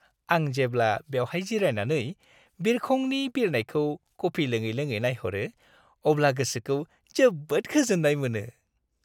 आं जेब्ला बेवहाय जिरायनानै बिरखंनि बिरनायखौ कफि लोङै-लोङै नायहरो अब्ला गोसोखौ जोबोद गोजोन्नाय मोनो।